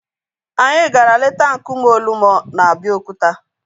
Anyị gara leta nkume Olumo na Abeokuta